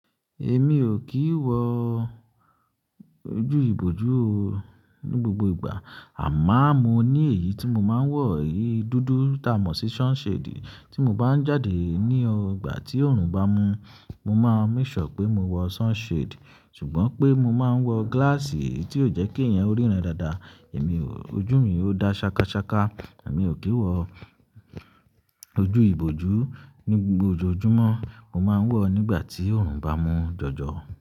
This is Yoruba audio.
Èmi ò kí ń wọ ojú ìbojú o ní gbogbo ìgbà. Àmó mo ní èyí tí mo máa ń wọ, èyí dúdú ta mọ̀ sí sunshade tí mo bá ń jáde ní ọgbà tí òòrùn bá mú. Mo máa ń make sure pé mo wọ sunshade. Ṣùgbọ́n pé mo máa ń wọ glass tí ó jẹ́ kí ẹ̀yẹn ríran dáadáa. Èmi, ojú mi ò dá ṣakaṣaka. Èmi ò kí ń wọ ojú ìbojú ní gbogbo ojojúmọ́, mo máa ń wọ nígbà tí òòrùn bá mú jọjọ.